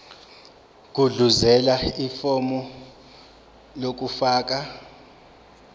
gudluzela ifomu lokufaka